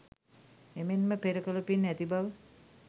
එමෙන්ම පෙර කළ පින් ඇති බව,